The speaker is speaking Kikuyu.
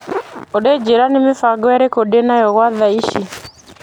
Olĩ njĩra nĩ mĩbango ĩrĩko ndĩ nayo gwa tha ici.